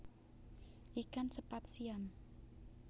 Ikan sepat siam